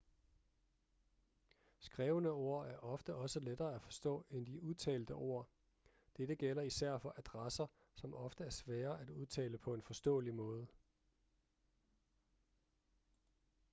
skrevne ord er ofte også lettere at forstå end de udtalte ord dette gælder især for adresser som ofte er svære at udtale på en forståelig måde